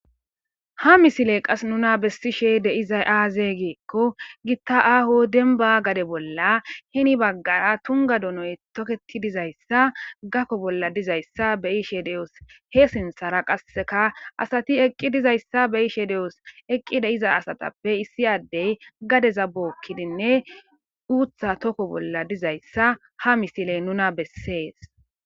ha misiley qas nuna bessishe deizay aaze giikko gitta aaho denba gade bolla hini baggara tunga donoy toketi dizayssa gakko bolla dizayssa beishe de7os he sinthara qasseka asati eqqi dizayssa be ishe de7os eqqi de iza asatappe issi addey gadeza bookkidinne uutha tokko bolla dizayssa ha misile nuna bessees